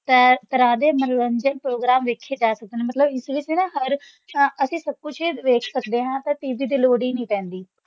ਤਰ~ ਤਰ੍ਹਾਂ ਦੇ ਮਨੋਰੰਜਨ ਪ੍ਰੋਗਰਾਮ ਵੇਖੇ ਜਾ ਸਕਣ, ਮਤਲਬ ਇਸ ਵਿੱਚ ਨਾ ਹਰ ਤਾਂ ਅਸੀਂ ਸਭ ਕੁਛ ਵੇਖ ਸਕਦੇ ਹਾਂ ਤਾਂ TV ਦੀ ਲੋੜ ਹੀ ਨੀ ਪੈਂਦੀ।